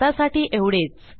आतासाठी एवढेच